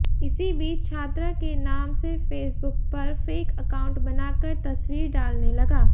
इसी बीच छात्रा के नाम से फेसबुक पर फेक एकाउंट बनाकर तस्वीर डालने लगा